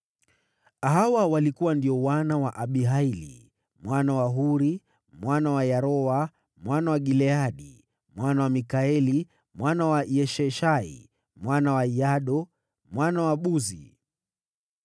Hawa walikuwa ndio wana wa Abihaili mwana wa Huri, mwana wa Yaroa, mwana wa Gileadi, mwana wa Mikaeli, mwana wa Yeshishai, mwana wa Yahdo, mwana wa Buzi.